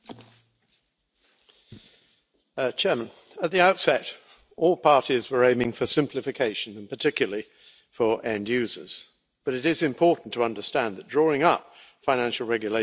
Madam President, at the outset, all parties were aiming for simplification, particularly for end users, but it is important to understand that drawing up financial regulations is inevitably a balancing act.